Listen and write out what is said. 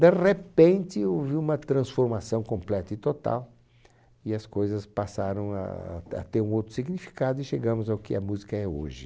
De repente, houve uma transformação completa e total e as coisas passaram ah... A ter um outro significado e chegamos ao que a música é hoje.